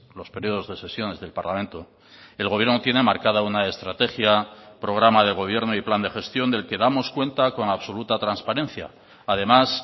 los periodos de sesiones del parlamento el gobierno tiene marcada una estrategia programa de gobierno y plan de gestión del que damos cuenta con absoluta transparencia además